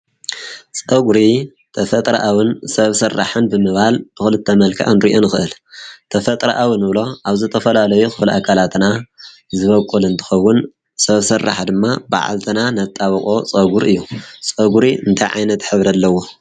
ጸጕሪ ተፈጥረ ኣውን ሰብ ሠርራሕን ብምባል ብዂልተ መልካ ንርእየን ኽእል ተፈጥረ ኣውን እብሎ ኣብዘተፈላለይ ኽል ኣካላትና ዝበቊል እንትኸውን ሰብ ሠራሕ ድማ ብዓልትና ነጣብቖ ጸጕር እዩ ጸጕሪ እንተይ ዓይነት ኅብሪ ኣለዎ?